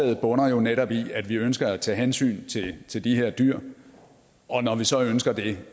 bunder jo netop i at vi ønsker at tage hensyn til de her dyr og når vi så ønsker det